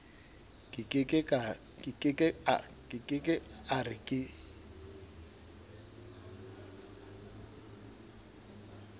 ke ke a re ke